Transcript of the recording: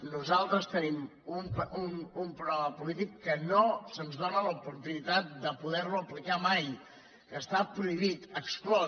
nosaltres tenim un programa polític que no se’ns dóna l’oportunitat de poder lo aplicar mai que està prohibit exclòs